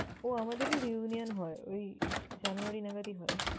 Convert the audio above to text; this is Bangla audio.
ও আমাদেরও reunion হয় ওই জানুয়ারি নাগাদই হয়।